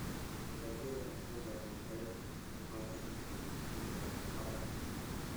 Dalagyada mpunga waxay u baahan yihiin ciidda barafka.